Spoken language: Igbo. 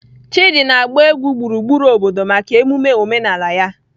Chidi na-agba egwu gburugburu obodo maka emume omenala ya.